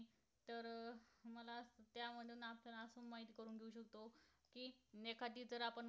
ने एखादी जर आपण